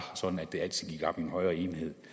sådan at det altid gik op i en højere enhed